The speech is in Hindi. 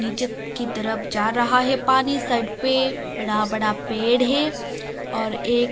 नीचे की तरफ जा रहा है पानी सड़ पे बड़ा बड़ा पेड़ है और ये--